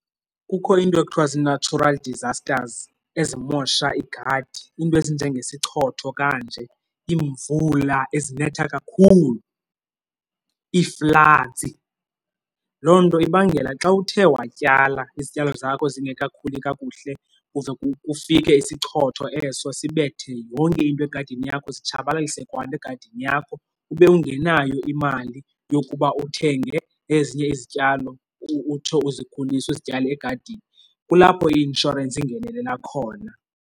Kukho iinto ekuthiwa zii-natural disasters ezimosha igadi, iinto ezinjengesichotho kanje, iimvula ezinetha kakhulu ii-floods. Loo nto ibangela xa uthe watyala izityalo zakho zingekakhuli kakuhle kuze kufike isichotho eso sibethe yonke into egadini yakho, zitshabalalise kwanto egadini yakho ube ungenayo imali yokuba uthenge ezinye izityalo utsho uzikhulise uzityale egadini. Kulapho i-inshorensi ingenelela khona.